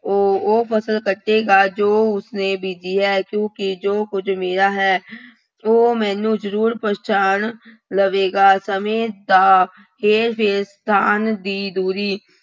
ਉਹ ਉਹ ਫਸਲ ਕੱਟੇਗਾ ਜੋ ਉਸਨੇ ਬੀਜੀ ਹੈ ਕਿਉਂਕਿ ਜੋ ਕੁੱਝ ਮੇਰਾ ਹੈ, ਉਹ ਮੈਨੂੰ ਜ਼ਰੂਰ ਪਹਿਚਾਣ ਲਵੇਗਾ, ਸਮੇਂ ਦਾ ਹੇਰ-ਫੇਰ ਤਾਂ ਅੰਨ੍ਹ ਦੀ ਦੂਰੀ।